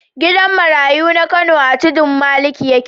Gidan marayu na Kano a Tudun Maliki yake.